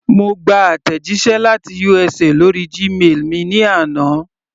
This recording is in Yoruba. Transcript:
Mo gba àtẹ̀jíṣẹ́ láti USA lórí Gmail mi ní àná.